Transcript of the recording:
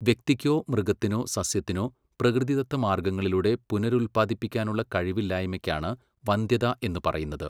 വ്യക്തിക്കോ മൃഗത്തിനോ സസ്യത്തിനോ പ്രകൃതിദത്ത മാർഗങ്ങളിലൂടെ പുനരുൽപ്പാദിപ്പിക്കാനുള്ള കഴിവില്ലായ്മയ്ക്കാണ് വന്ധ്യത എന്ന് പറയുന്നത്.